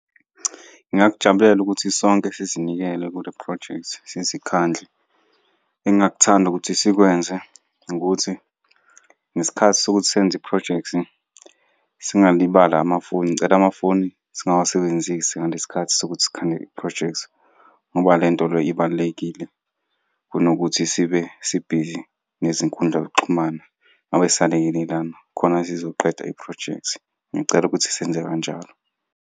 Ngingakujabulela ukuthi sonke sizinikele kule phrojekthi, sizikhandle. Engingakuthanda ukuthi sikwenze ukuthi, ngesikhathi sokuthi senze iphrojekthi singalibali amafoni, ngicela amafoni singawusebenzisi ngale sikhathi sokuthi sikhande iphrojekthi, ngoba le nto le ibalulekile kunokuthi sibe sibhizi nezinkundla zokuxhumana, ngabe siyalekelelana khona sizoqeda iphrojekthi. Ngicela ukuthi senze kanjalo.